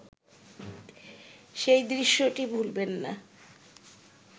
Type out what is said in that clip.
সেই দৃশ্যটি ভুলবেন না